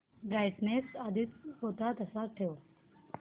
brightness आधी होता तसाच ठेव